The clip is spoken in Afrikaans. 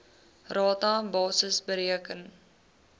rata basis bereken